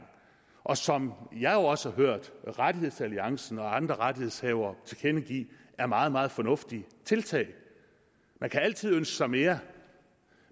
og som jeg jo også har hørt rettighedsalliancen og andre rettighedshavere tilkendegive er meget meget fornuftige tiltag man kan altid ønske sig mere